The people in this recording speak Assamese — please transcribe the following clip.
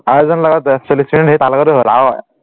আৰু এজনৰ লগত চল্লিচ মিনিট তাৰ লগটো হল